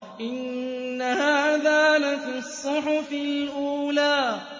إِنَّ هَٰذَا لَفِي الصُّحُفِ الْأُولَىٰ